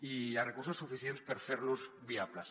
i hi ha recursos suficients per fer los viables